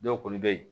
Dɔw kɔni bɛ yen